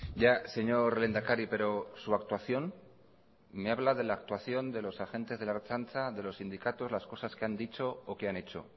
ya señor lehendakari pero su actuación me habla de la actuación de los agentes de la ertzaintza de los sindicatos las cosas que han dicho o que han hecho